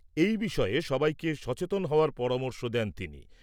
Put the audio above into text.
এই বিষয়ে সবাইকে সচেতন হওয়ার পরামর্শ দেন তিনি।